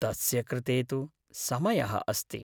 तस्य कृते तु समयः अस्ति।